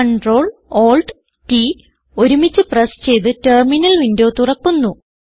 Ctrl Alt T ഒരുമിച്ച് press ചെയ്ത് terminal window തുറക്കുന്നു